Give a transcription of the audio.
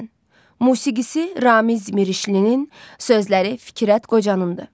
Musiqisi Ramiz Mirişlinin, sözləri Fikrət Qocanındır.